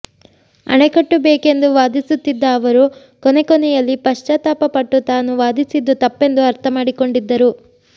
ಅಣೆಕಟ್ಟು ಬೇಕೆಂದು ವಾದಿಸುತ್ತಿದ್ದ ಅವರು ಕೊನೆ ಕೊನೆಯಲ್ಲಿ ಪಶ್ಚಾತ್ತಾಪ ಪಟ್ಟು ತಾನು ವಾದಿಸಿದ್ದು ತಪ್ಪೆಂದು ಅರ್ಥ ಮಾಡಿಕೊಂಡಿದ್ದರು